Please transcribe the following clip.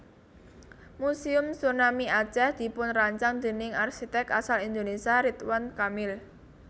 Muséum Tsunami Aceh dipunrancang déning arsiték asal Indonesia Ridwan Kamil